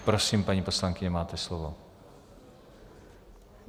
Prosím, paní poslankyně, máte slovo.